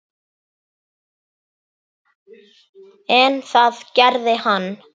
En það gerði hann.